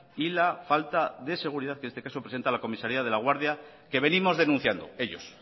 y la falta de seguridad que en este caso lo presenta la comisaría de laguardia que venimos denunciando ellos